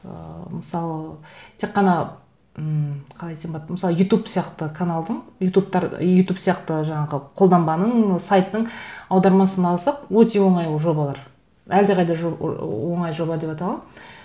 ыыы мысалы тек қана м қалай десем болады мысалы ютуб сияқты каналдың ютуб сияқты жаңағы қолданбаның сайттың аудармасын алсақ өте оңай ол жобалар әлдеқайда оңай жоба деп айта аламын